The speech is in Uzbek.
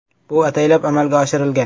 “Bu ataylab amalga oshirilgan.